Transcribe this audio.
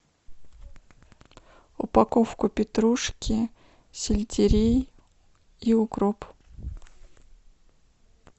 упаковку петрушки сельдерей и укроп